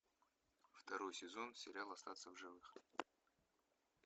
второй сезон сериал остаться в живых